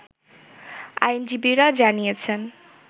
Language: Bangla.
আইনজীবীরা জানিয়েছেন